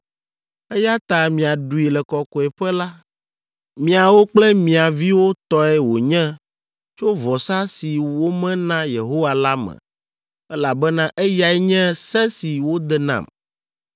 eya ta miaɖui le Kɔkɔeƒe la. Miawo kple mia viwo tɔe wònye tso vɔsa si wome na Yehowa la me, elabena eyae nye se si wode nam.